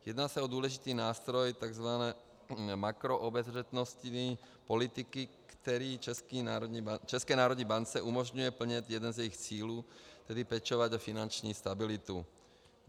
Jedná se o důležitý nástroj tzv. makroobezřetnostní politiky, který České národní bance umožňuje plnit jeden z jejích cílů, tedy pečovat o finanční stabilitu.